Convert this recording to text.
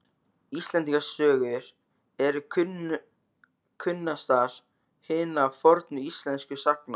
Íslendingasögur eru kunnastar hinna fornu íslensku sagna.